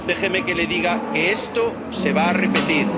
a todos. Déjeme que le diga que esto se va a